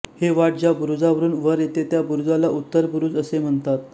ही वाट ज्या बुरुजावरून वर येते त्या बुरुजाला उत्तर बुरुज असे म्हणतात